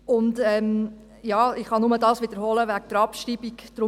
Ich kann nur wiederholen, was ich zur Abschreibung gesagt habe: